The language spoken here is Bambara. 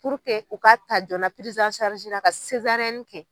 u ka ta joona kɛ.